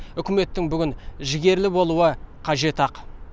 үкіметтің бүгін жігерлі болуі қажет ақ